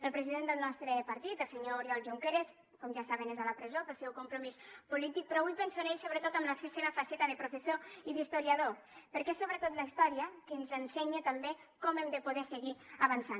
el president del nostre partit el senyor oriol junqueras com ja saben és a la presó pel seu compromís polític però avui penso en ell sobretot en la seva faceta de professor i d’historiador perquè és sobretot la història que ens ensenya també com hem de poder seguir avançant